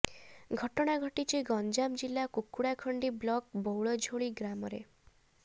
ଘଟଣା ଘଟିଛି ଗଞ୍ଜାମ ଜିଲ୍ଲା କୁକୁଡ଼ାଖଣ୍ଡି ବ୍ଲକ ବଉଳଝୋଳି ଗାଁରେ